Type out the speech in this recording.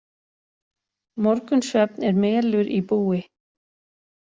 Morgunsvefn er melur í búi.